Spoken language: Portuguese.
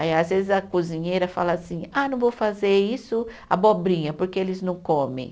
Aí, às vezes, a cozinheira fala assim, ah, não vou fazer isso, abobrinha, porque eles não comem.